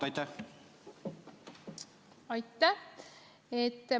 Aitäh!